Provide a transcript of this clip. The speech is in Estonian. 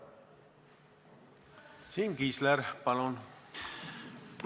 Siim Kiisler, palun!